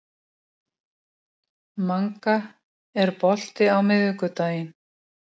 Hún var kannski ekki sú skipulagðasta hún Grýla, en hún kunni að.